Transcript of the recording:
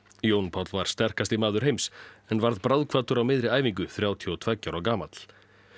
Jón Páll var sterkasti maður heims en varð bráðkvaddur á miðri æfingu þrjátíu og tveggja ára gamall